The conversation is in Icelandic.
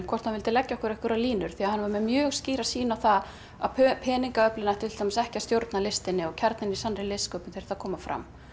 hvort hann vildi leggja okkur einhverjar línur því hann var með mjög skýra sýn á það að peningaöflin ættu ekki að stjórna listinni kjarninn í sannri listsköpun þyrfti að koma fram